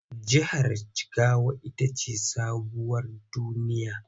Jihar Jigawa ita ce sabuwar duniya.